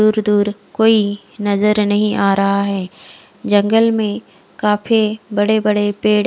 दूर दूर कोई नजर नही आ रहा है जगंल में काफी बड़े बड़े पेड़--